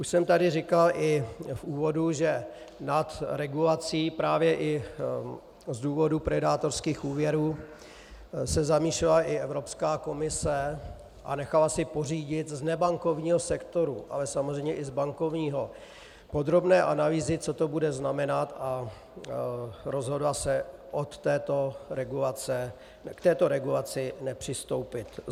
Už jsem tady říkal i v úvodu, že nad regulací právě i z důvodu predátorských úvěrů se zamýšlela i Evropská komise a nechala si pořídit z nebankovního sektoru, ale samozřejmě i z bankovního, podrobného analýzy, co to bude znamenat, a rozhodla se k této regulaci nepřistoupit.